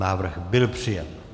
Návrh byl přijat.